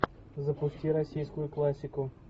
запусти российскую классику